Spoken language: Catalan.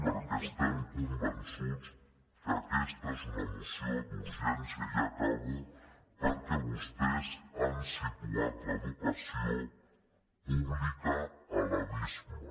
perquè estem convençuts que aquesta és una moció d’urgència ja acabo perquè vostès han situat l’educació pública a l’abisme